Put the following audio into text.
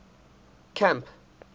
camp